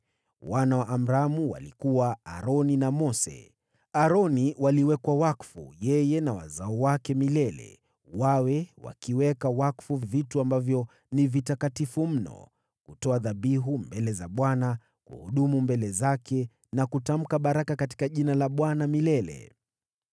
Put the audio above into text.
Wana wa Amramu walikuwa: Aroni na Mose. Aroni waliwekwa wakfu, yeye na wazao wake milele, wawe wakiweka wakfu vitu ambavyo ni vitakatifu mno, kutoa dhabihu mbele za Bwana , kuhudumu mbele zake na kutamka baraka katika Jina la Bwana milele.